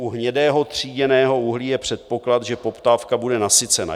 U hnědého tříděného uhlí je předpoklad, že poptávka bude nasycena.